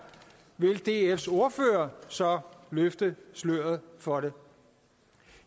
vil dfs ordfører så løfte sløret for det